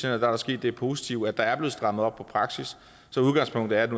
er der sket det positive at der er blevet strammet op på praksis så udgangspunktet er at